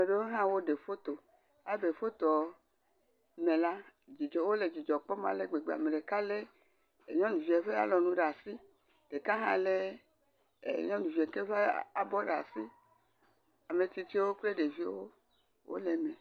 Ame geɖewo hã woɖe foto, alebe le fotoa me la, dzidzɔ wole dzidzɔ kpɔm ale gbegbe ame ɖeka lé nyɔnuvia ɖe alɔnu ɖe asi, ɖeka hã lé nyɔnuvie ɖe abɔ ɖe asi. Ametsitsiwo kple ɖeviwo wo le eme.